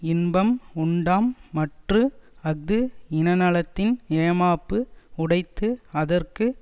இன்பம் உண்டாம் மற்று அஃது இன நலத்தின் ஏமாப்பு உடைத்துஅதற்கு